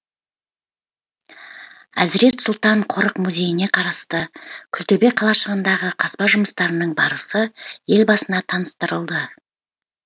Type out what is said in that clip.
әзірет сұлтан қорық музейіне қарасты күлтөбе қалашығындағы қазба жұмыстарының барысы елбасына таныстырылды